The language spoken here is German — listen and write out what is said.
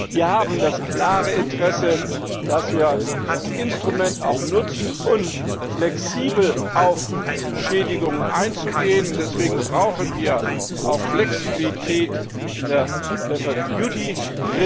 Wir haben das klare Interesse, dass wir das Instrument auch nutzen, um flexibel auf Schädigungen einzugehen. Deswegen brauchen wir auch Flexibilität in der lesser duty rule